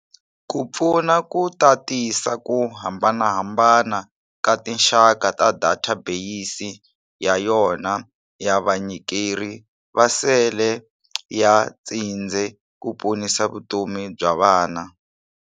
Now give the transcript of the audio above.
ku pfuna ku tatisa ku hambanahambana ka tinxaka ta data beyisi ya yona ya vanyikeri va sele ya tshindze ku ponisa vutomi bya vana.